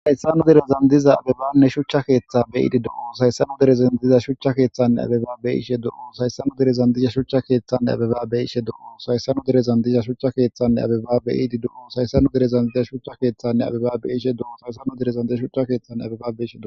saysanu derezan diza abebanne shuchcha keeththa beyiidi dou saysanu derezan diza shucha keeththanne abebaabe ishe dou sayssanu derezan disha shuchcha keeththanne abebaabe ishe do sayssanu derezan dizha shuchcha keeththanne abebaabe iidi dou sayssanu derezan diza shucha keeththanne abebaabe ishe dou saysanu direzan di shuchcha keeththanne abebabe isheo